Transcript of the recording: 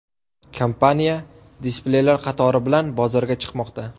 Kompaniya displeylar qatori bilan bozorga chiqmoqda.